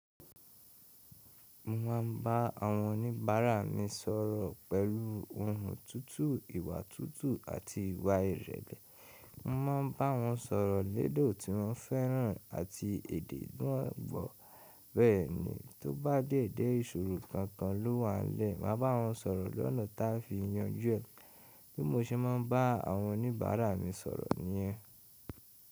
Mo ma ń bá awon oníbàárà mi sọ̀rọ̀ pẹ̀lú ohùn tutù, ìwà tutù àti ìwà ìrẹ̀le. Mo máa ń bá won sọ̀rọ̀ lédè tí won fẹ́ran àti èdè tí won gbọ́. Bẹ́ẹ̀nì, tó bá dé je ìsọ̀rọ̀ kankan ló wà n lẹ́, màá bá won sọ̀rọ̀ lọ́nà ta fì yanjú ẹ̀. Bí mo ṣe máa ń bá awon oníbàárà mi sọ̀rọ̀ nìyẹn.